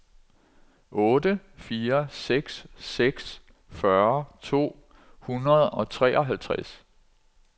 otte fire seks seks fyrre to hundrede og treoghalvtreds